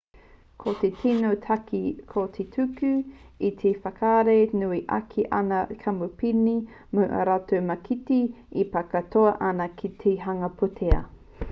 ko te tino take ko te tuku i te mana whakahaere nui ake ki aua kamupene mō ā rātou mākete e pā katoa ana ki te hanga pūtea